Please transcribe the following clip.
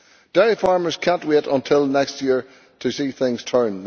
Dairy farmers cannot wait until next year to see things turn.